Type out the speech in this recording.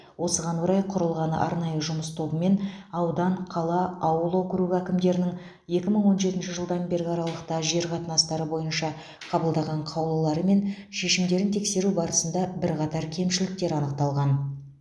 осыған орай құрылған арнайы жұмыс тобымен аудан қала ауыл округі әкімдерінің екі мың он жетінші жылдан бергі аралықта жер қатынастары бойынша қабылдаған қаулылары мен шешімдерін тексеру барысында бірқатар кемшіліктер анықталған